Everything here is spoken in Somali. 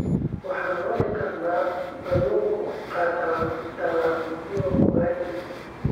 Waxaan cuni karnaa kalluunka qallalan iyo ugalii.